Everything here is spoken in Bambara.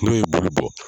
N'o ye bulu bɔ